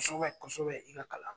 Kɔsɔbɛ kɔsɔbɛ i ka kalan na.